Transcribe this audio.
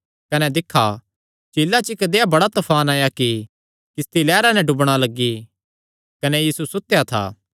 कने दिक्खा झीला च इक्क देहया बड़ा तफान आया कि किस्ती लैहरां नैं डुबणा लग्गी कने यीशु सुतेया था